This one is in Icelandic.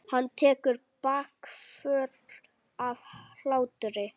Hann tekur bakföll af hlátri.